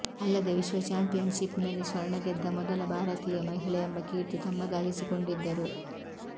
ಅಲ್ಲದೆ ವಿಶ್ವ championship ನಲ್ಲಿ ಸ್ವರ್ಣ ಗೆದ್ದ ಮೊದಲ ಭಾರತೀಯ ಮಹಿಳೆ ಎಂಬ ಕೀರ್ತಿ ತಮ್ಮದಾಗಿಸಿಕೊಂಡಿದ್ದರು